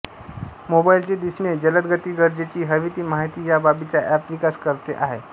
मोबाइलचे दिसणे जलदगती गरजेची हवी ती माहिती या बाबींचा एंप विकास करते आहे